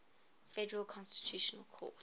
federal constitutional court